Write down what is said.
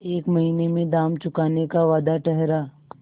एक महीने में दाम चुकाने का वादा ठहरा